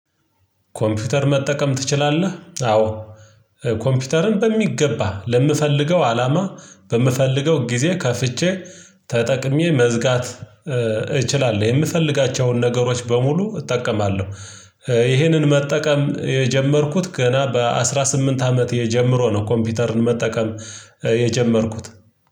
ኮምፒውተር መጠቀም ትችላለህ? አዎ ኮምፒውተርን በሚገባ ለምፈልገው አላማ በምፈልገው ጊዜ ከፍቼ ተጠቅሜ መዝጋት እችላለሁ የምፈልጋቸውን ነገሮች በሙሉ እጠቀማለሁ ይሄንን መጠቀም የጀመርኩት ገና በአሥራ ስምንት አመቴ ጀመሮ ነው ኮምፒውተርን መጠቀም የጀመርኩት